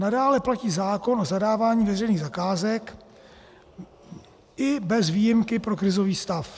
Nadále platí zákon o zadávání veřejných zakázek i bez výjimky pro krizový stav.